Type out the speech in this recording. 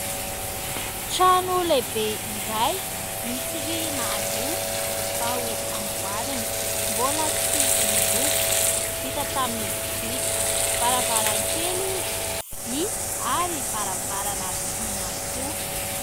Trano lehibe iray misy rihana roa, vao amboarina, mbola tsy miloko, vita tamin'ny biriky, varavarankely vy ary varavarana vy ihany koa.